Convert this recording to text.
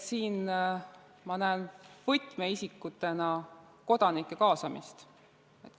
Siin ma näen võtmeisikutena kodanike kaasamist.